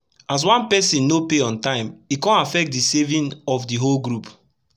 as one pesin no pay on tym e kon affect d saving of d whole group